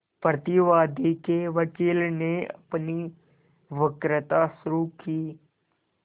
प्रतिवादी के वकील ने अपनी वक्तृता शुरु की